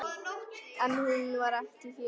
En hún var ekki hér.